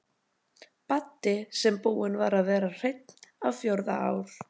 Baddi sem búinn var að vera hreinn á fjórða ár.